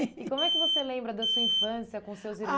E como é que você lembra da sua infância com seus irmãos? A